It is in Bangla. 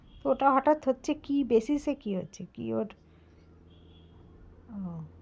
ওটা হঠাৎ হচ্ছে কী basis এ কি হচ্ছে কি ওটা, ও।